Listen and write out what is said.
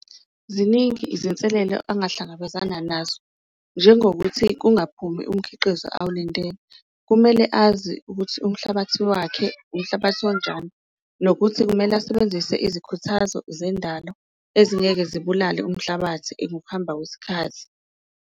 Ziningi izinselelo angahlangabezana nazo njengokuthi kungaphumi umkhiqizo awulandeli, kumele azi ukuthi umhlabathi wakhe umhlabathi onjani nokuthi kumele asebenzise izikhuthazo zendalo ezingeke zibulale umhlabathi ngokuhamba kwesikhathi.